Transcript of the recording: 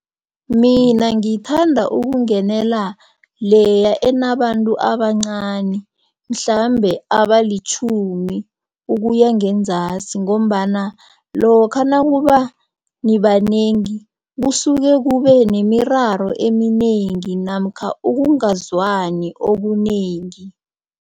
Mina ngithanda ukungenela leya enabantu abancani mhlambe abalitjhumi ukuya ngenzasi. Ngombana lokha nakuba nibanengi, kusuke kube nemiraro eminengi namkha ukungazwani okunengi.